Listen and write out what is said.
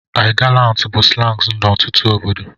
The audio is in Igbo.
I gallant bụ slangs n'ọtụtụ obodo